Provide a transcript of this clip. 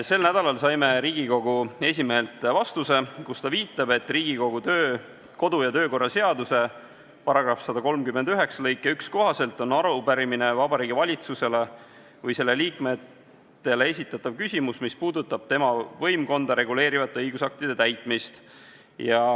Sel nädalal saime Riigikogu esimehelt vastuse, kus ta viitab, et Riigikogu kodu- ja töökorra seaduse § 139 lõike 1 kohaselt on arupärimine Vabariigi Valitsusele või selle liikmetele esitatav küsimus, mis puudutab tema võimkonda reguleerivate õigusaktide täitmist.